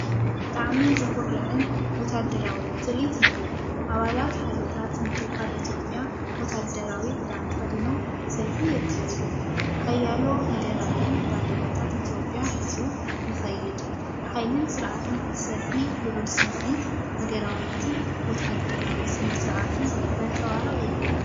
ብጣዕሚ ዘኹርዕን ወተሃደራውን ትርኢት እዩ! ኣባላት ሓይልታት ምክልኻል ኢትዮጵያ ወተሃደራዊ ክዳን ተኸዲኖም ሰልፊ የካይዱ። ሓያሎ ሃገራዊ ባንዴራታት ኢትዮጵያ ሒዙ ይኸይድ። ሓይልን ስርዓትን እቲ ሰልፊ ልዑል ስምዒት ሃገራውነትን ወተሃደራዊ ስነ-ስርዓትን ዘንጸባርቕ እዩ።